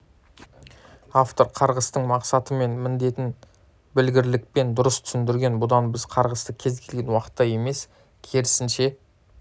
автор қарғыстың мақсаты мен міндетін білгірлікпен дұрыс түсіндірген бұдан біз қарғысты кез келген уақытта емес керісінше